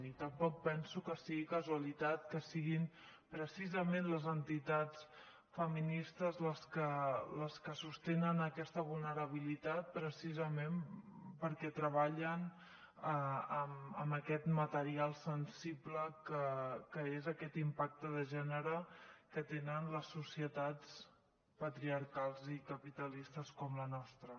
i tampoc penso que sigui casualitat que siguin precisament les entitats feministes les que sostenen aquesta vulnerabilitat precisament perquè treballen amb aquest material sensible que és aquest impacte de gènere que tenen les societats patriarcals i capitalistes com la nostra